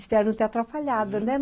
Espero não ter atrapalhado, né?